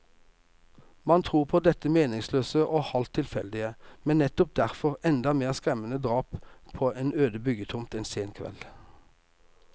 Man tror på dette meningsløse og halvt tilfeldige, men nettopp derfor enda mer skremmende drap på en øde byggetomt en sen kveld.